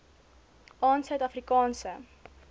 aan suid afrikaanse